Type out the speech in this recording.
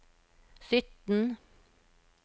sytten